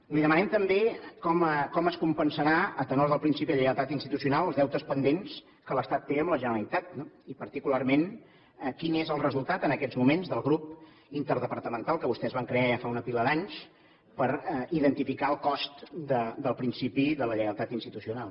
li demanem també com es compensaran a tenor del principi de lleialtat institucional els deutes pendents que l’estat té amb la generalitat i particularment quin és el resultat en aquests moments del grup interdepartamental que vostès van crear ja fa una pila d’anys per identificar el cost del principi de la lleialtat institucional